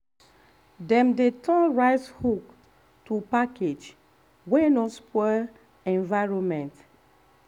dem dey turn rice husk to package wey no spoil environment.